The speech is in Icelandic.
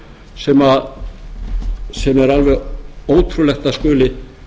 sem er alveg ótrúlegt að skuli